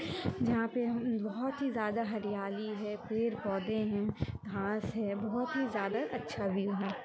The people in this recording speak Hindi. जहाँ पे बहुत ही ज्यादा हरयाली है पेड़-पौधे है घास है बहुत ही ज्यादा अच्छा व्यू है।